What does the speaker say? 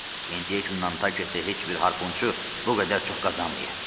İndiyə kimi Nanketdə heç bir harpunçu bu qədər çox qazanmayıb.